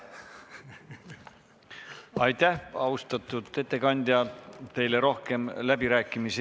Aitäh, austatud ettekandja!